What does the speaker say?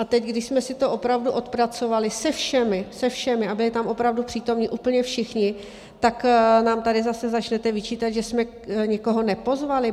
A teď, když jsme si to opravdu odpracovali se všemi, se všemi, a byli tam opravdu přítomni úplně všichni, tak nám tady zase začnete vyčítat, že jsme někoho nepozvali?